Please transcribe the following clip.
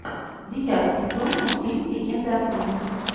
десятый сезон мультфильм легенда о круге